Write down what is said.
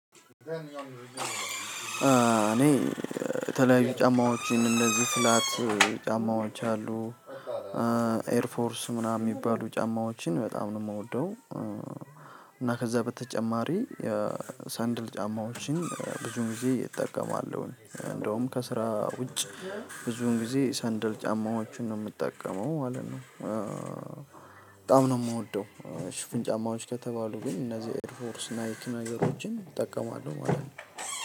እኔ የተለያዩ ጫማዎችን እንደዚህ ፍላት ጫማዎች አሉ ኤርፎርስ ምናምን የሚባሉ ጫማዎችን በጣም ነው የምወደው። እና ከዛ በተጨማሪ የሰንድል ጫማዎችን ብዙ ጊዜ እጠቀማለሁ እንደውም ከስራ ውጭ ብዙን ጊዜ ሰንደል ጫማዎቹን ነው የምጠቀመው ማለት ነው። በጣም ነው የምወደው ሽፍን ጫማዎች ከተባሉ ግን እነዚህ ኤርፎርስ ናይክ ነገሮችን እጠቀማለሁ። ማለት ነው